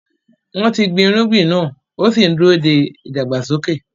Wọ́n ti gbin irúgbìn náà ó sì ń dúró de ìdàgbàsókè.